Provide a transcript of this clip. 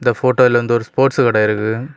இந்த போட்டோல வந்து ஒரு ஸ்போர்ட்ஸ் கடை இருக்கு.